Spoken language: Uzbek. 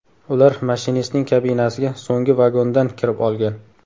Ular mashinistning kabinasiga so‘nggi vagondan kirib olgan.